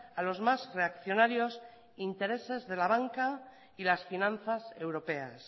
a los más reaccionarios intereses de la banca y las finanzas europeas